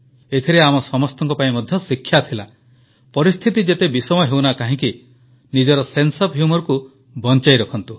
ଏଥିରେ ଆମ ପାଇଁ ମଧ୍ୟ ଶିକ୍ଷା ଥିଲା ପରିସ୍ଥିତି ଯେତେ ବିଷମ ହେଉନା କାହିଁକି ନିଜର ସେନ୍ସେ ଓଏଫ୍ humourକୁ ବଂଚାଇ ରଖନ୍ତୁ